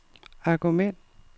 argument